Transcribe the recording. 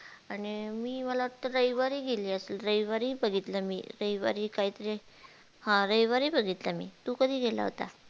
आणि मी मला वाटत रविवारी गेली रविवारी बघितलं रविवारी काय तरी हा रविवारी बघितलं मी